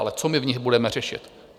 Ale co my v nich budeme řešit?